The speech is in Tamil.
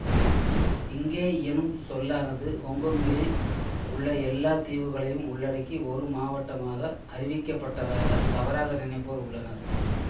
இங்கே எனும் சொல்லானது ஹொங்கொங்கில் உள்ள எல்லா தீவுகளையும் உள்ளடக்கி ஒரு மாவட்டமாக அறிவிக்கப்பட்டதாக தவறாக நினைப்போர் உள்ளனர்